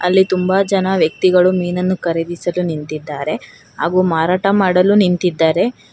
ಇಲ್ಲಿ ತುಂಬಾ ಜನ ವ್ಯಕ್ತಿಗಳು ಮೀನನ್ನು ಖರೀದಿಸಲು ನಿಂತಿದ್ದಾರೆ ಹಾಗೂ ಮಾರಾಟ ಮಾಡಲು ನಿಂತಿದ್ದಾರೆ.